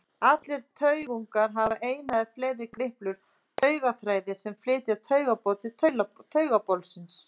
Allir taugungar hafa eina eða fleiri griplur, taugaþræði sem flytja taugaboð til taugabolsins.